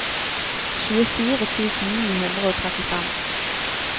tjuefire tusen ni hundre og trettifem